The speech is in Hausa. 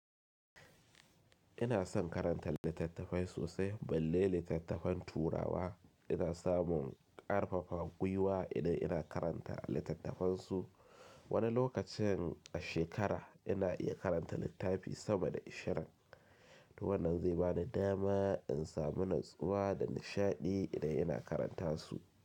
Ina son karanta littattafai sosai, balle littattafan turawa. Ina samun ƙarfafawa gwiwa idan ina karanta littattafansu. Wani lokacin a shekara ina iya karanta littafi sama da ashirin. To wannan zai bani dama in sami natsuwa da nishaɗi idan idan ina karanta su.